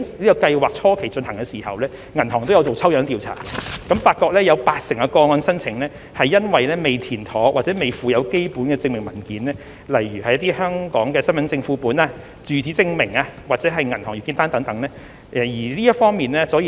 在計劃進行初期，銀行也有進行抽樣調查，並發現有八成個案申請由於未填妥或未附有基本證明文件，例如香港身份證副本、住址證明或銀行月結單等，而未獲處理。